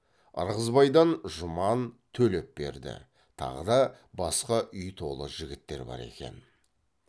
ырғызбайдан жұман төлепберді тағы да басқа үй толы жігіттер бар екен